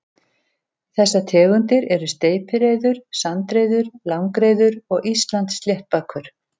Þessar tegundir eru steypireyður, sandreyður, langreyður og Íslandssléttbakur.